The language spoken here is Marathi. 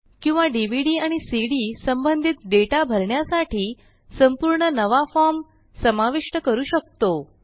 किंवा डीव्हीडी आणि सीडी संबंधित डेटा भरण्यासाठी संपूर्ण नवा फॉर्म समाविष्ट करू शकतो